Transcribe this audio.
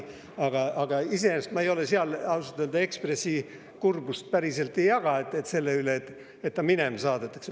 Aga iseenesest ma ausalt öelda Ekspressi kurbust, et ta minema saadetakse, päris ei jaga.